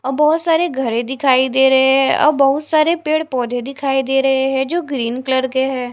और बहोत सारे घरे दिखाई दे रहे हैं और बहुत सारे पेड़-पौधे दिखाई दे रहे हैं जो ग्रीन कलर के है।